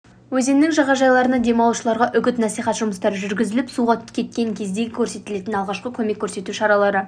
өзенінің жағажайларында демалушыларға үгіт насихат жұмыстары жүргізіліп суға кеткен кездегі көрсетілетін алғашқы көмек көрсету шаралары